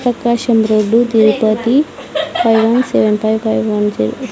Prakasam road Tirupati five one seven by one జర్--